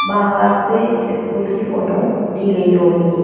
बाहर से स्कूल की फोटो ली गई होगी।